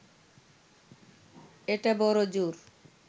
এটা বড়জোর